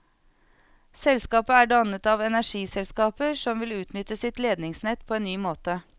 Selskapet er dannet av energiselskaper som vil utnytte sitt ledningsnett på en ny måte.